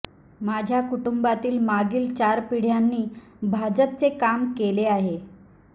माझ्या कुटुंबातील मागील चार पिढ्यांनी भाजपचे काम केले आहे